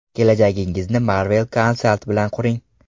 Kelajagingizni Marvel Consult bilan quring!